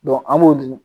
an b'o dun